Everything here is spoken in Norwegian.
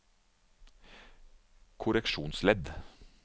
korreksjonsledd